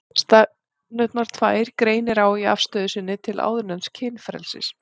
Stefnurnar tvær greinir á í afstöðu sinni til áðurnefnds kynfrelsis.